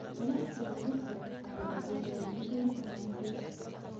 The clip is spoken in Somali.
Aqoonsigu wuxuu caawiyaa diiwaangelinta hantida.